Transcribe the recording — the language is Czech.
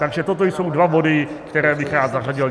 Takže toto jsou dva body, které bych rád zařadil.